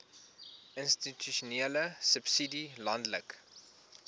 institusionele subsidie landelike